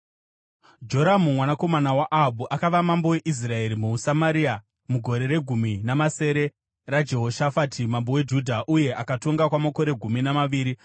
Joramu, mwanakomana waAhabhu akava mambo weIsraeri muSamaria mugore regumi namasere raJehoshafati mambo weJudha, uye akatonga kwamakore gumi namaviri.